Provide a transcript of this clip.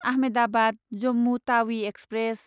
Ahmedabad Jammu Tawi express